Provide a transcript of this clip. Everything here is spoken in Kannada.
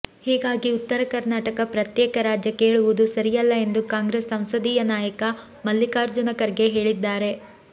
ಹೀಗಾಗಿ ಉತ್ತರ ಕರ್ನಾಟಕ ಪ್ರತ್ಯೇಕ ರಾಜ್ಯ ಕೇಳುವುದು ಸರಿಯಲ್ಲ ಎಂದು ಕಾಂಗ್ರೆಸ್ ಸಂಸದೀಯ ನಾಯಕ ಮಲ್ಲಿಕಾರ್ಜುನ ಖರ್ಗೆ ಹೇಳಿದ್ದಾರೆ